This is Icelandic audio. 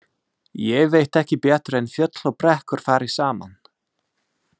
Ég veit ekki betur en fjöll og brekkur fari saman.